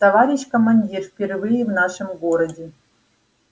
товарищ командир впервые в нашем городе